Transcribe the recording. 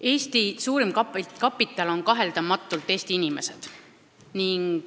Eesti kõige väärtuslikum kapital on kaheldamatult Eesti inimesed.